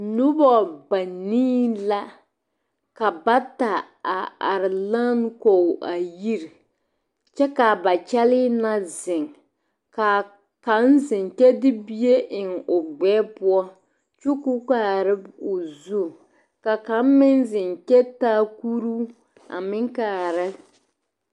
Nobɔ banii la ka bata a are lan kɔge a yiri kyɛ kaa ba kyɛlii na ziŋ ka kaŋ ziŋ kyɛ de bie eŋ o gbɛɛ poɔ kyo ko kaara o zu ka kaŋ meŋ ziŋ kyɛ taa kuruu a meŋ kaara.